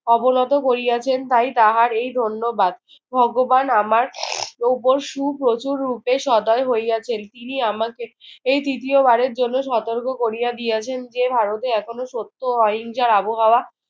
অবনত করিয়াছেন তাই তাহার এই ধন্যবাদ। ভগবান আমার উপর সুপ্রচুররূপে সদয় হইয়াছেন। তিনি আমাকে এ তৃতীয়বারের জন্য সতর্ক করিয়া দিয়াছেন যে ভারতে এখনো সত্য ও অহিংসার আবহাওয়া